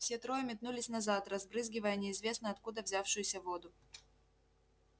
все трое метнулись назад разбрызгивая неизвестно откуда взявшуюся воду